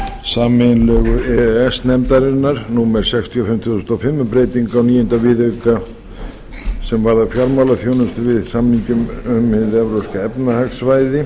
sameiginlegu e e s nefndarinnar númer sextíu og fimm tvö þúsund og fimm um breytingu á níunda viðauka sem varðar fjármálaþjónustu m samninginn um hið evrópska efnahagssvæði